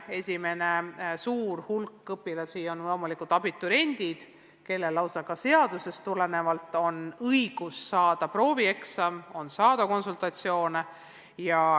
Esimene suur hulk õpilasi on loomulikult abituriendid, kellel on lausa seadusest tulenevalt õigus saada võimalus teha proovieksam ja osaleda konsultatsioonides.